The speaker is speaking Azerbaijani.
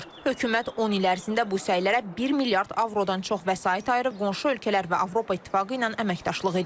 Hökumət 10 il ərzində bu səylərə 1 milyard avrodan çox vəsait ayırıb qonşu ölkələr və Avropa İttifaqı ilə əməkdaşlıq edir.